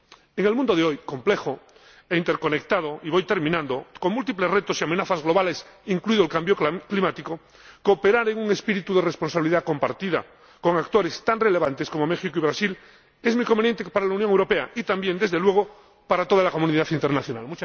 En el mundo de hoy, complejo e interconectado —y voy terminando—, con múltiples retos y amenazas globales, incluido el cambio climático, cooperar en un espíritu de responsabilidad compartida con actores tan relevantes como México y Brasil es muy conveniente para la Unión Europea y también, desde luego, para toda la comunidad internacional.